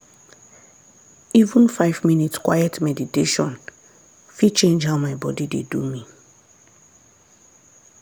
even five minutes quiet meditation fit change how my body dey do me.